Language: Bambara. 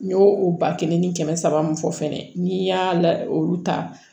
N y'o o ba kelen ni kɛmɛ saba mun fɔ fɛnɛ ni n y'a la olu ta